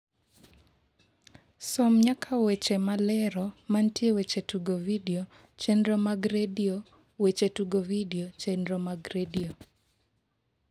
som nyaka weche malero mantie weche tugo vidio chenro mag redio weche tugo vidio chenro mag redio